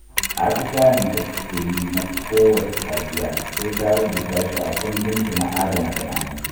Atisayen da take yi na kowacce safiya, sai ta rubuta shi a kundinta na adana bayanai